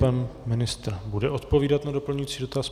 Pan ministr bude odpovídat na doplňující dotaz.